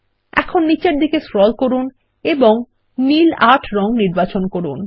এখন নীচের দিকে স্ক্রল করুন এবং নীল ৮ রঙ নির্বাচন করুন